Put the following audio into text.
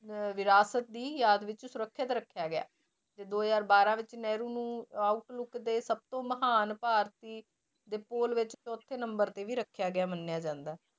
ਅਹ ਵਿਰਾਸਤ ਦੀ ਯਾਦ ਵਿੱਚ ਸੁਰੱਖਿਅਤ ਰੱਖਿਆ ਗਿਆ ਹੈ ਤੇ ਦੋ ਹਜ਼ਾਰ ਬਾਰਾਂ ਵਿੱਚ ਨਹਿਰੂ ਨੂੰ outlook ਦੇ ਸਭ ਤੋਂ ਮਹਾਨ ਭਾਰਤੀ ਦੇ ਪੋਲ ਵਿੱਚ ਚੌਥੇ number ਤੇ ਵੀ ਰੱਖਿਆ ਗਿਆ ਮੰਨਿਆ ਜਾਂਦਾ ਹੈ